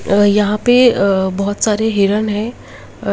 अ यहा पे अ बोहोत सारे हिरण है। अ --